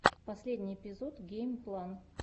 последний эпизод геймплан